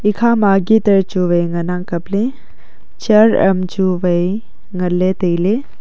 ekhama guitar chu wai ngan ang kaple chair am chu wai ngan le taile.